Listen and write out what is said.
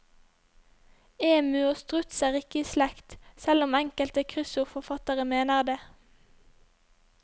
Emu og struts er ikke i slekt, selv om enkelte kryssordforfattere mener det.